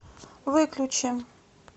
выключи